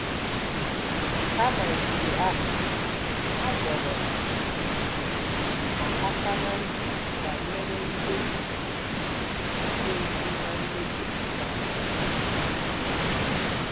Kama nke ahụ, a dọrọ um ha aka ná ntị banyere ihe um ga-esi ná mmehie pụta.